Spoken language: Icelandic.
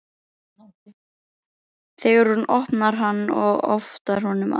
Þegar hún opnar hann og otar honum að